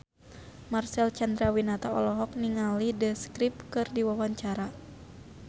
Marcel Chandrawinata olohok ningali The Script keur diwawancara